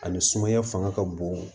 Ani sumaya fanga ka bon